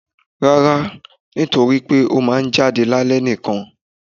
Rara, nítorí pe o ma n jadé ni alẹ nikan